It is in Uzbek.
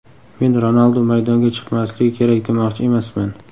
Men Ronaldu maydonga chiqmasligi kerak demoqchi emasman.